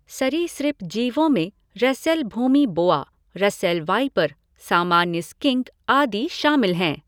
सरीसृप जीवों में रसेल भूमी बोआ, रसेल वाइपर, सामान्य स्किंक आदि शामिल हैं।